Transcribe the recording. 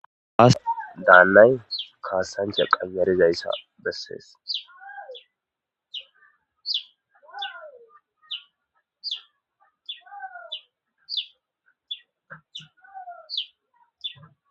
aas daallay kaassancha qayarizayssa bessees.